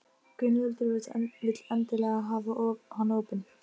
Nema einhver hafi stungið kasettu í fornfálegt tækið.